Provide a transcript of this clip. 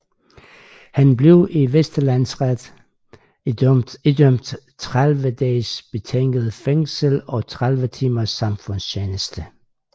Han blev i Vestre Landsret idømt 30 dages betinget fængsel og 30 timers samfundstjeneste